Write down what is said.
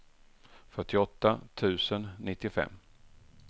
fyrtioåtta tusen nittiofem